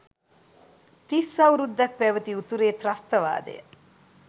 තිස් අවුරුද්දක් පැවැති උතුරේ ත්‍රස්තවාදය